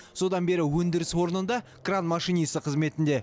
содан бері өндіріс орнында кран машинисі қызметінде